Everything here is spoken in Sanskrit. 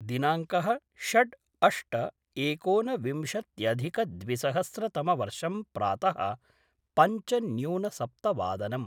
दिनांकः षड् अष्ट एकोनविंशत्यधिकद्विसहस्रतमवर्षं प्रात: पञ्चन्यूनसप्तवादनम्